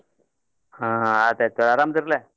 ಹಾ ಆಯ್ತ್ ಆಯ್ತ್ ಆರಾಮ್ ಆದೀರಲ್ಲ.